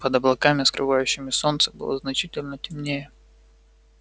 под облаками скрывавшими солнце было значительно темнее